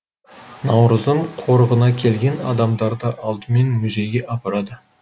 наурызым қорығына келген адамдарды алдымен музейге апарады